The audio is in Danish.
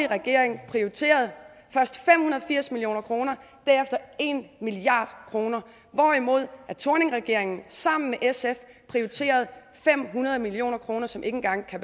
regering prioriteret først fem hundrede og firs million kr derefter en milliard kr hvorimod thorningregeringen sammen med sf prioriterede fem hundrede million kr som ikke engang